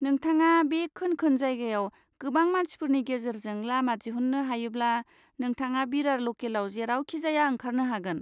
नोंथाङा बे खोन खोन जायगायाव गोबां मानसिफोरनि गेजेरजों लामा दिहुन्नो हायोब्ला नोंथाङा बिरार लकेआव जेरावखिजाया ओंखारनो हागोन।